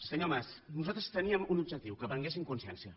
senyor mas nosaltres teníem un objectiu que prenguessin consciència